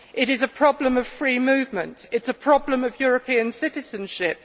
It is a problem of free movement. It is a problem of European citizenship.